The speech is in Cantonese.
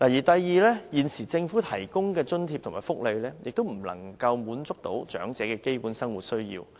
第二，現時政府提供的津貼和福利亦不能滿足長者的基本生活需要。